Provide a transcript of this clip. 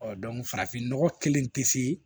Ɔ farafinnɔgɔ kelen tɛ se